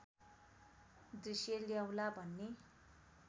दृश्य ल्याउला भन्ने